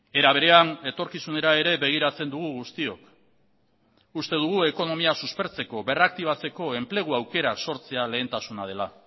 era berean etorkizunera ere begiratzen dugu guztiok uste dugu ekonomia suspertzeko berraktibatzeko enplegu aukerak sortzea lehentasuna dela